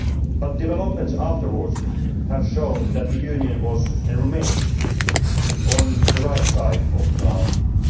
But developments afterwards have shown that the Union was and remains on the right side of the argument.